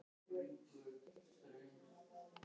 Í þessu tilviki var aðeins um dagsferð að ræða.